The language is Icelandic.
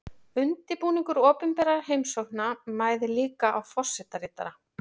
Undirbúningur opinberra heimsókna mæðir líka á forsetaritara.